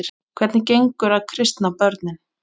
Hvernig gengur að kristna börnin?